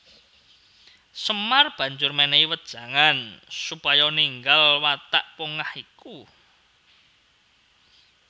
Semar banjur mènèhi wejangan supaya ninggal watak pongah iku